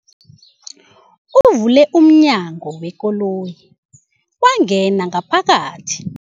Uvule umnyango wekoloyi wangena ngaphakathi.